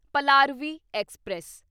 Palaruvi express